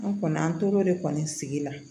An kɔni an tor'o de kɔni sigi la